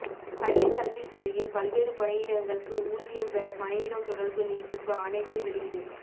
பள்ளிக்கல்வித் துறையில் பல்வேறு பணியிடங்களுக்கு ஊதியம் பெற பணியிடம் தொடர் நீட்டிப்பு ஆணைகள் வெளியீடு